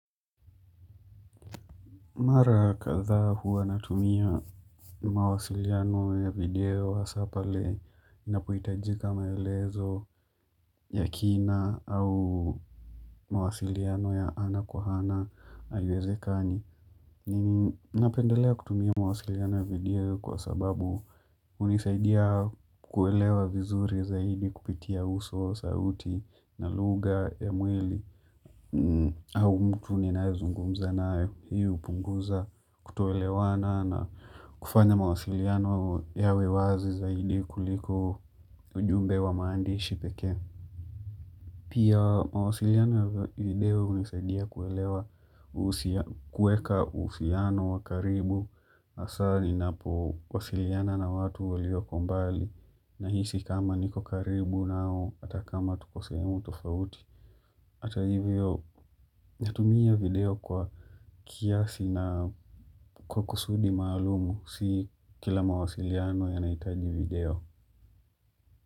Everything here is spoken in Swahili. Mara kadhaa huwa natumia mawasiliano ya video hasa pale na pohitajika maelezo ya kina au mawasiliano ya ana kwa ana haiwezekani. Nini napendelea kutumia mawasiliano ya video kwa sababu hunisaidia kuelewa vizuri zaidi kupitia uso sauti na lugha ya mwlii. Au mtu ninayezungumza nayo hii upunguza kutoelewana na kufanya mawasiliano yawe wazi zaidi kuliko ujumbe wa maandishi pekee. Pia mawasiliano ya video hunisaidia kuelewa kueka usiano wa karibu asali na po wasiliana na watu walio kombali na hisi kama niko karibu nao hatakama tuko sehemu tofauti. Ata hivyo, natumia video kwa kiasi na kwa kusudi maalumu, si kila mawasiliano yanahitaji video.